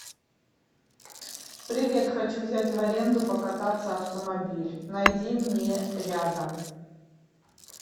привет хочу взять в аренду покататься автомобиль найди мне рядом